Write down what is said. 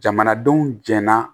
Jamanadenw jɛnna